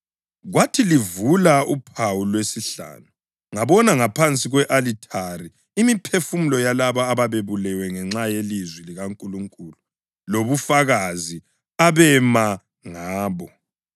Kwathi livula uphawu lwesihlanu ngabona ngaphansi kwe-alithari imiphefumulo yalabo ababebulewe ngenxa yelizwi likaNkulunkulu lobufakazi abema ngabo.